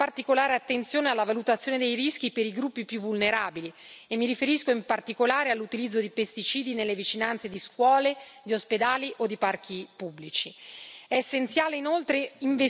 Per il gruppo SD si dovrà prestare particolare attenzione alla valutazione dei rischi per i gruppi più vulnerabili e mi riferisco, in particolare, all'utilizzo di pesticidi nelle vicinanze di scuole, ospedali o parchi pubblici.